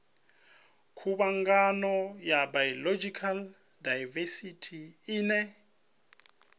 khuvhangano ya biological daivesithi ine